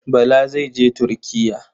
Bala zai je Turkiya.